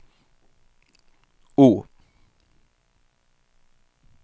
O